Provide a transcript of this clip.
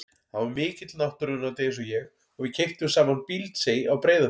Hann var mikill náttúruunnandi eins og ég og við keyptum saman Bíldsey á Breiðafirði.